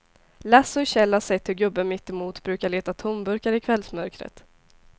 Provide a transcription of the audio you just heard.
Lasse och Kjell har sett hur gubben mittemot brukar leta tomburkar i kvällsmörkret.